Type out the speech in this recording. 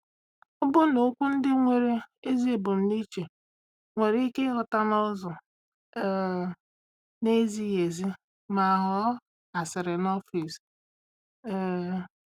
Ọbụna okwu ndị nwere ezi ebumnuche nwere ike ịghọta n’ụzọ um na-ezighị ezi ma ghọọ asịrị n’ọfịs. um